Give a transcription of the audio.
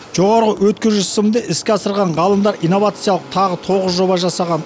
жоғары өткізгіш сымды іске асырған ғалымдар инновациялық тағы тоғыз жоба жасаған